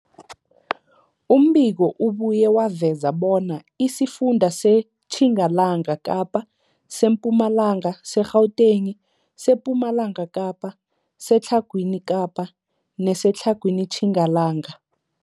Umbiko ubuye waveza bona isifunda seTjingalanga Kapa, seMpumalanga, seGauteng, sePumalanga Kapa, seTlhagwini Kapa neseTlhagwini Tjingalanga.